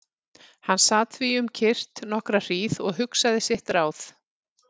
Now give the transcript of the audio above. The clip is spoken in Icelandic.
Hann sat því um kyrrt nokkra hríð og hugsaði sitt ráð.